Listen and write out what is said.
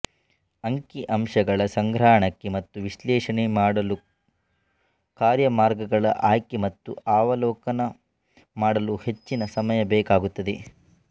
ಅಂಕಿಅಂಶಗಳ ಸಂಗ್ರಹಣೆ ಮತ್ತು ವಿಶ್ಲೇಷಣೆ ಮಾಡಲುಕಾರ್ಯಮಾರ್ಗಗಳ ಆಯ್ಕೆ ಮತ್ತು ಅವಲೋಕನ ಮಾಡಲು ಹೆಚ್ಚಿನ ಸಮಯ ಬೇಕಾಗುತ್ತದೆ